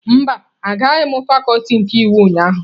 Mba, agaghị m fakuti nke iwu ụnyahụ.